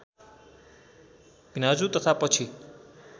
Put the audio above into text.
भिनाजु तथा पछि